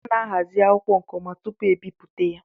A ná-ahazi akwụkwọ nke ọma tupu ebipụta ya